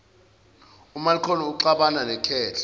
umalcolm uxabana nekhehla